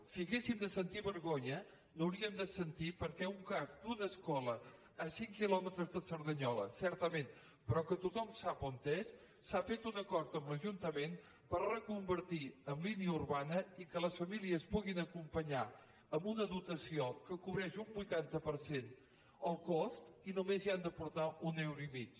si haguéssim de sentir vergonya n’hauríem de sentir perquè en un cas d’una escola a cinc quilòmetres de cerdanyola certament però que tothom sap on és s’ha fet un acord amb l’ajuntament per reconvertir en línia urbana i que les famílies puguin acompanyar amb una dotació que cobreix un vuitanta per cent el cost i només hi han d’aportar d’un euro i mig